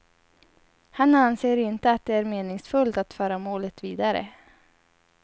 Han anser inte att det är meningsfullt att föra målet vidare.